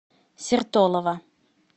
сертолово